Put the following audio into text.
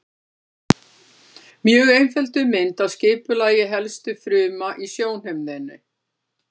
Mjög einfölduð mynd af skipulagi helstu fruma í sjónhimnunni.